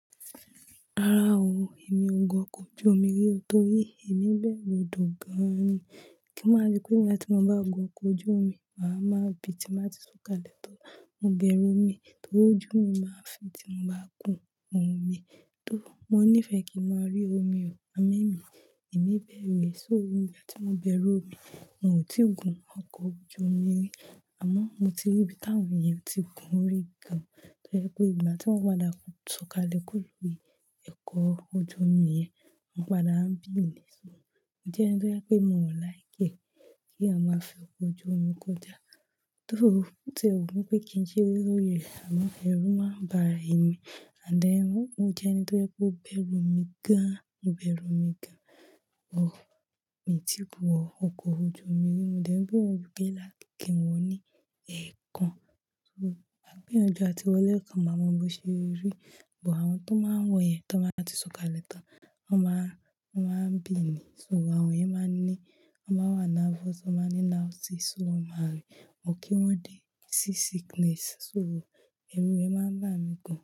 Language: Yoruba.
Rárá o, èmi ò gun ọkọ̀ ojú omi rí, nítorí èmi ń bẹ̀rù odo gan-an ni. Kí máa rí pé ìgbà tí mo bá gun ọkọ̀ ojú omi, màá máa bi tí màá ti sọ̀kalẹ̀ tan. Mo bẹ̀rù omi, torí ojú mi máa ń fi tí mo bá kùn omi. Torí mo nífẹ̀ẹ́ kí ń máa rí omi o, amo emì, èmi bẹ̀rù. Só, ìgbà tí mo bẹ̀rù omi, mi ò tí ì gun ọkọ̀ ojú omi rí. Àmọ́ mo ti rí bí táwọn eeyan tí gun rí gan-an. Torí pé ìgbà tí wọn padà sọ̀kalẹ̀ kúrò nínú ẹ̀kọ́ ojú omi yẹn, mo padà ń bì í lẹ si bẹ. Idí ẹ̀ ni to yẹ pé mi o wà láìpé kí a máa fi ọkọ̀ ojú omi kọjá. Torí tí ẹ ro bi wí pé kí sere lóri ẹ, àmọ́ ẹrú máa ń bà é mi. And then, mo jẹ́ ẹni tó jẹ́ pé ó bẹ̀rù omi gan-an, mo bẹ̀rù omi gan-an, bọ̀ mí tì í wọ ọkọ̀ ojú omi rí. Mo dẹ̀ ń bẹru pé láti kí wọn ní ẹ̀ẹ̀kan, kí wọ́n máa gbiyanju àti wọlé kan máa mọ bí ṣe rí. Ìbọ àwọn tó máa ń wọ̀ yẹn tí wọ́n bá ti sọ̀kalẹ̀ tán, wọ́n máa, wọ́n máa ń bì í níi so. Àwọn yẹn máa ń ní, wọ́n máa wà nervous, tí wọ́n máa ń ní láti sùn, wọ́n máa rí wọn kí wọ́n dé sí sickness. So ẹrú rẹ̀ máa ń bà mí gan-an.